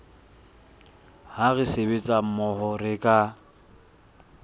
ha re sebetsa mmoho re